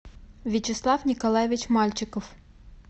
вячеслав николаевич мальчиков